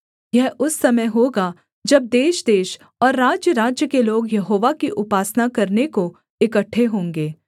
यह उस समय होगा जब देशदेश और राज्यराज्य के लोग यहोवा की उपासना करने को इकट्ठे होंगे